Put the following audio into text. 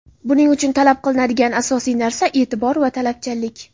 Buning uchun talab qilinadigan asosiy narsa e’tibor va talabchanlik.